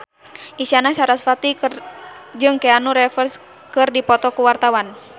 Isyana Sarasvati jeung Keanu Reeves keur dipoto ku wartawan